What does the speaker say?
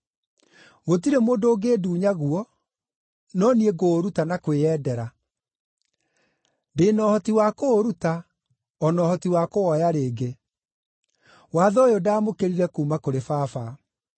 Gũtirĩ mũndũ ũngĩndunya guo, no niĩ ngũũruta na kwĩyendera. Ndĩ na ũhoti wa kũũruta, o na ũhoti wa kũwoya rĩngĩ. Watho ũyũ ndaamũkĩrire kuuma kũrĩ Baba.”